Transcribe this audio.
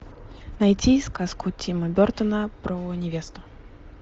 найти сказку тима бертона про невесту